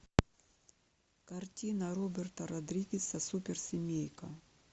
картина роберта родригеса супер семейка